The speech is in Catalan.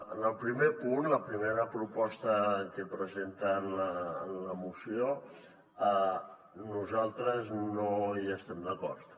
en el primer punt la primera proposta que presenten en la moció nosaltres no hi estem d’acord